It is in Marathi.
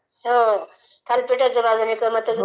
हो थालिपाठाची भाजन जमतं असेल